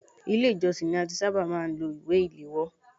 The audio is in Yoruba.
Ilé ìjósìn ni a ti ṣábà máà ń lo ìwé ìléwọ́.